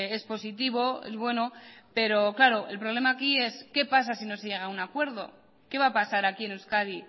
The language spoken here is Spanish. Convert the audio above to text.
es positivo es bueno pero claro el problema aquí es qué pasa si no se llega a un acuerdo qué va a pasar aquí en euskadi